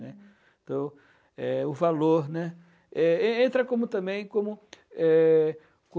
né, então, eh, o valor né? Eh e entra também não como eh... co